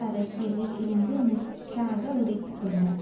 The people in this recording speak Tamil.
அரசியலில் இருந்து முற்றாக உடைத்துக்கொண்டார்